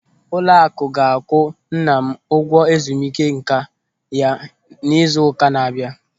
Ụlọakụ ga-akwụ nna m ụgwọ ezumike nká ya n'izu ụka na-abịa.